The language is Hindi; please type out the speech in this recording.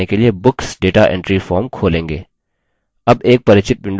अब एक परिचित window खुलती है